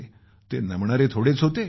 ते नमणारे थोडेच होते